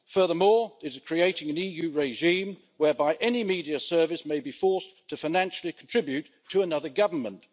Furthermore, it is creating an EU regime whereby any media service may be forced to financially contribute to another government.